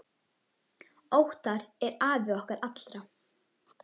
Óttar er afi okkar allra.